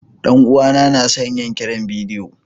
Dan uwana na son yin kiran bidiyo.